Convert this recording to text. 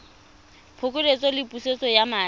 phokoletso le pusetso ya madi